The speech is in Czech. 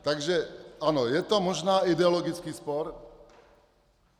Takže ano, je to možná ideologický spor.